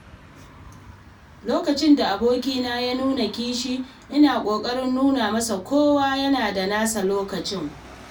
Lokacin da abokina ya nuna kishi, ina ƙoƙarin nuna masa cewa kowa yana da nasa lokacin.